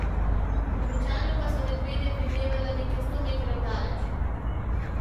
Običajno pa sva medvede videvala nekaj sto metrov daleč.